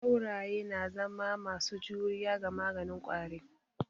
Sauraye na zama masu juriya ga maganin ƙwari.